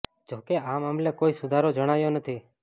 જો કે આ મામલે કોઈ સુધારો જણાયો નથી